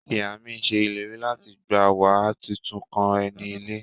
Iya mi se ileri lati gba wa titun kan eni ile.